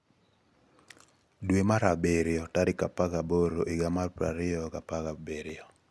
pic.twitter.com/QizU5OCZdp — Bartosz T. WieliĹ„ski (@Bart_Wielinski) dwe mar abirio 18, 2017